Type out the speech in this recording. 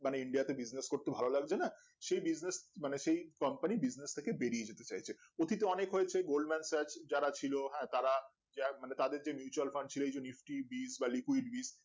মানে india তে Business করতে ভালো লাগবে না সেই Business মানে সেই company Business থেকে বেরিয়ে যেতে চাইছে অতীতে অনেক হয়েছে